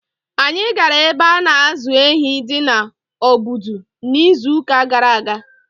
Anyị gara ebe a na-azụ ehi di na Obudu n’izuụka gara aga.